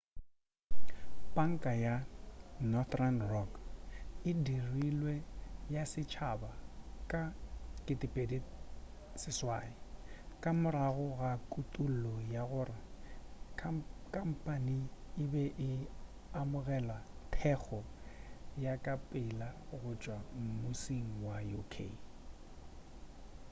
panka ya northern rock e dirilwe ya setšhaba ka 2008 ka morago ga kutullo ya gore khampane e be e amogela thekgo ya ka pela go tšwa mmusing wa uk